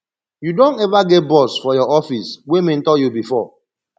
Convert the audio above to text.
you don eva get boss for your office wey mentor you before